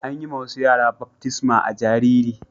An yi ma wasu yara baftisma a'jariri.